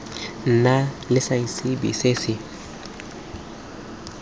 nna le seabe se se